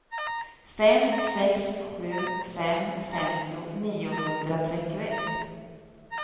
fem sex sju fem femtio niohundratrettioett